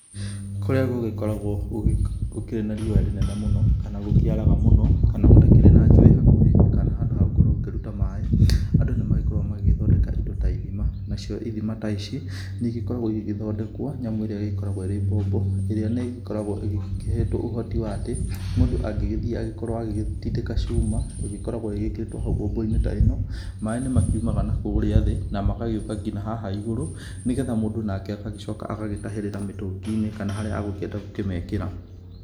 Kũrĩa gũgĩkoragwo gũkĩrĩ na riũa rĩnene mũno, kana gũkĩaraga mũno, kana gũtakĩrĩ na njũĩ hakuhĩ, kana handũ hagũkorwo ũkĩruta maĩ, andũ nĩmagĩthondekaga indo ta ithima, nacio ithima ta ici nĩigĩkoragwo igĩgĩthondekwo nyamũ ĩrĩa ĩgĩkoragwo ĩĩ bobo, ĩrĩa nigĩkoragwo ĩhetwo ũhoti wa atĩ, mũndũ angĩgĩthiĩ agĩkorwo agĩgĩtindĩka cuma ĩgĩkoragwo ĩgĩkĩrĩtwo hau bobo-inĩ ta ĩno, maĩ nĩmakiumaga nakũrĩa thĩ na magagĩũka nginya haha igũrũ, nĩgetha mũndũ nake agagĩcoka agagĩtahĩrĩra mĩtũngi-inĩ kana harĩa agũkĩenda gũkĩmĩkĩra.